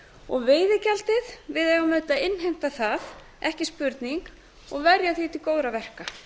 og veiðigjaldið við eigum að innheimta það ekki spurning og verja því til góðra verka